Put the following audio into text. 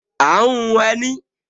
À ń hun ẹní